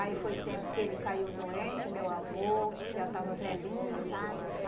Aí foi tempo que ele caiu doente, meu avô, que já estava velhinho, sabe?